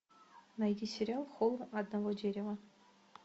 найди сериал холм одного дерева